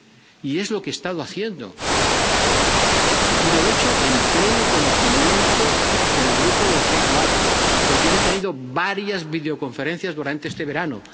Y es lo que he estado haciendo, y lo he hecho con pleno conocimiento del grupo del G4, con quien he tenido varias videoconferencias durante este verano.